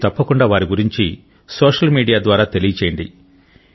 మీరు తప్పకుండా వారి గూర్చి సోషియల్ మీడియా ద్వారా తెలియచేయండి